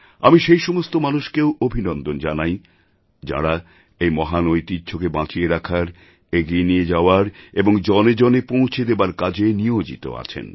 আমি সেই সমস্ত মানুষকেও অভিনন্দন জানাই যাঁরা এই মহান ঐতিহ্যকে বাঁচিয়ে রাখার এগিয়ে নিয়ে যাওয়ার এবং জনে জনে পৌঁছে দেওয়ার কাজে নিয়োজিত আছেন